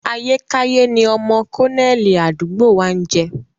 Ayékáyé ni ọmọ kọ́nẹ́ẹ̀lì àdúgbò wa ń jẹ́